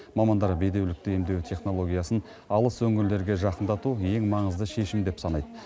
мамандар бедеулікті емдеу технологиясын алыс өңірлерге жақындату ең маңызды шешім деп санайды